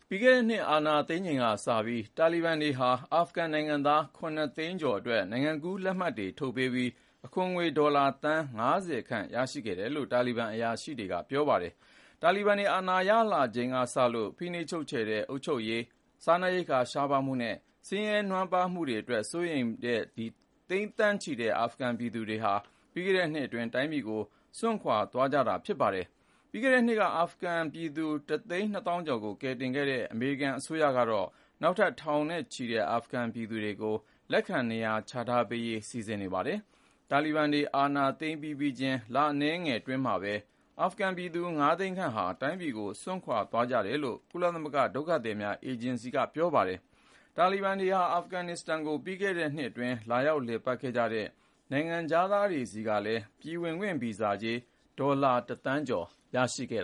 ပြီးခဲ့တဲ့နှစ် အာဏာသိမ်းချိန်ကစပြီး တာလီဘန်တွေဟာ အာဖဂန်နိုင်ငံသား (၇)သိန်းကျော်အတွက် နိုင်ငံကူးလက်မှတ်တွေ ထုတ်ပေးပြီး အခွန်ငွေ ဒေါ်လာသန်း(၅၀)ခန့် ရရှိခဲ့တယ်လို့ တာလီဘန်အရာရှိတွေက ပြောပါတယ်။ တာလီဘန်တွေ အာဏာရလာချိန်က စလို့ ၊ ဖိနှိပ်ချုပ်ခြယ်တဲ့ အုပ်ချုပ်ရေး စားနပ်ရိက္ခာ ရှားပါးမှုနဲ့ ဆင်းရဲနွမ်းပါးမှုတွေအတွက် စိုးရိမ်တဲ့ သိန်းသန်းချီတဲ့ အာဖဂန်ပြည်သူတွေဟာ ပြီးခဲ့တဲ့နှစ်အတွင်း တိုင်းပြည်ကို စွန့်ခွာ သွားကြတာ ဖြစ်ပါတယ်။ ပြီးခဲ့တဲ့နှစ်က အာဖဂန်ပြည်သူ တစ်သိန်း နှစ်သောင်းကျော်ကို ကယ်တင်ခဲ့တဲ့ အမေရိကန်အစိုးရကတော့ နောက်ထပ် ထောင်နဲ့ချီတဲ့ အာဖဂန်ပြည်သူ တွေကိုလည်း လက်ခံနေရာချထားပေးဖို့ စီစဉ်နေပါတယ်။ တာလီဘန်တွေ အာဏာသိမ်း ပြီးပြီးချင်း လအနည်းငယ်အတွင်းမှာပဲ အာဖဂန်ပြည်သူ (၅)သိန်းခန့်ဟာ တိုင်းပြည်ကို စွန့်ခွာ ခဲ့ကြတယ်လို့ ကုလသမဂ္ဂဒုက္ခသည်များအေဂျင်စီက ပြောပါတယ်။ တာလီဘန်တွေဟာ အာဖဂန်နစ္စတန်ကို ပြီးခဲ့တဲ့နှစ်အတွင်း လာရောက်လည်ပတ်ခဲ့ကြတဲ့ နိုင်ငံခြားသားတွေဆီကလည်း ပြည်ဝင်ခွင့်ဗီဇာကြေး ဒေါ်လာ(၁)သန်းကျော် ရရှိခဲ့